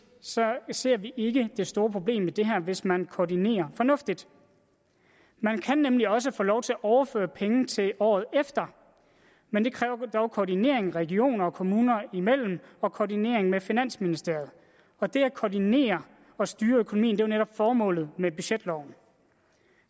ser vi ikke det store problem i det her hvis man koordinerer fornuftigt man kan nemlig også få lov til at overføre penge til året efter men det kræver dog koordinering regioner og kommuner imellem og koordinering med finansministeriet og det at koordinere og styre økonomien er jo netop formålet med budgetloven